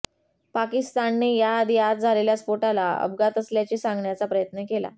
पाकिस्तानने याआधी आज झालेल्या स्फोटाला अपघात असल्याचे सांगण्याचा प्रयत्न केला